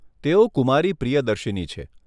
તેઓ કુમારી પ્રિયદર્શીની છે.